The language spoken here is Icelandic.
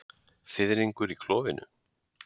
Fiðringur í klofinu.